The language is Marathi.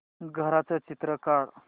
घराचं चित्र काढ